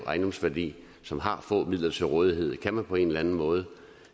værdi som har få midler til rådighed kan man på en eller anden måde